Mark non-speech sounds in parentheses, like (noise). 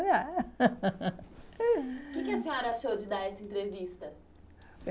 (laughs) O que que a senhora achou de dar essa entrevista?